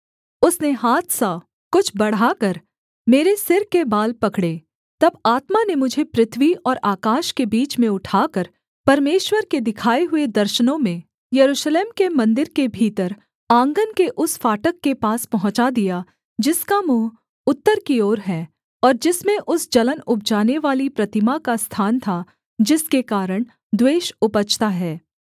उसने हाथसा कुछ बढ़ाकर मेरे सिर के बाल पकड़े तब आत्मा ने मुझे पृथ्वी और आकाश के बीच में उठाकर परमेश्वर के दिखाए हुए दर्शनों में यरूशलेम के मन्दिर के भीतर आँगन के उस फाटक के पास पहुँचा दिया जिसका मुँह उत्तर की ओर है और जिसमें उस जलन उपजानेवाली प्रतिमा का स्थान था जिसके कारण द्वेष उपजता है